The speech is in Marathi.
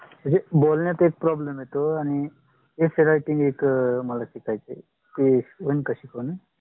म्हणजे मला बोलण्यात एक problem आहे. essay writing एक शिकायचिये ती येइल का शिकवायला?